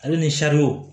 Ale ni sariw